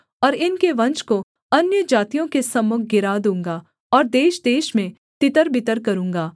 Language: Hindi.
और इनके वंश को अन्यजातियों के सम्मुख गिरा दूँगा और देशदेश में तितरबितर करूँगा